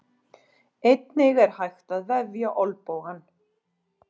Einnig er hægt að vefja olnbogann.